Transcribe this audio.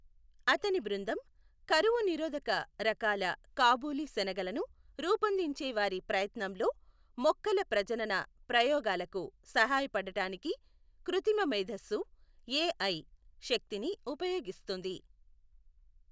అతని బృందం కరువు నిరోధక రకాల కాబూలీ శనగలను రూపొందించే వారి ప్రయత్నంలో మొక్కల ప్రజనన ప్రయోగాలకు సహాయపడటానికి కృత్రిమ మేధస్సు, ఏఐ, శక్తిని ఉపయోగిస్తోంది.